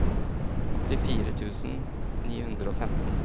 åttifire tusen ni hundre og femten